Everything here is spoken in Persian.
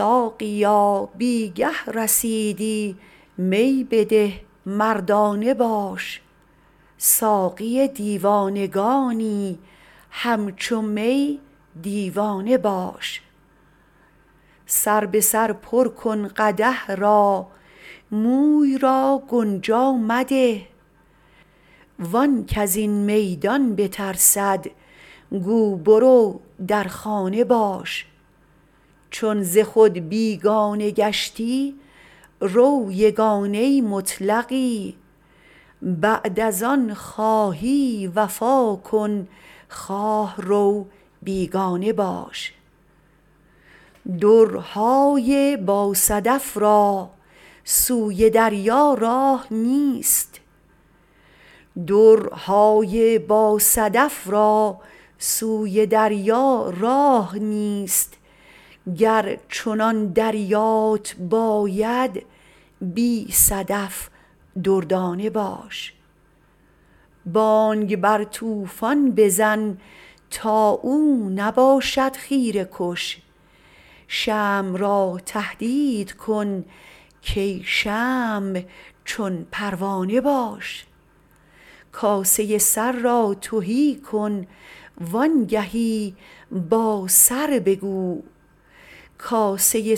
ساقیا بی گه رسیدی می بده مردانه باش ساقی دیوانگانی همچو می دیوانه باش سر به سر پر کن قدح را موی را گنجا مده وان کز این میدان بترسد گو برو در خانه باش چون ز خود بیگانه گشتی رو یگانه مطلقی بعد از آن خواهی وفا کن خواه رو بیگانه باش درهای باصدف را سوی دریا راه نیست گر چنان دریات باید بی صدف دردانه باش بانگ بر طوفان بزن تا او نباشد خیره کش شمع را تهدید کن کای شمع چون پروانه باش کاسه سر را تهی کن وانگهی با سر بگو کای